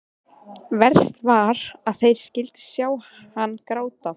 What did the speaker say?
Verst var að þeir skyldu sjá hann gráta.